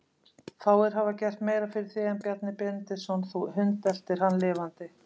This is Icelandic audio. Fáir hafa gert meira fyrir þig en Bjarni Benediktsson, þú hundeltir hann lifandi.